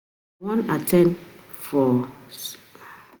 I wan at ten d seminar for Ibadan next week so i clear my schedule